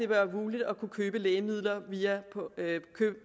være muligt at kunne købe lægemidler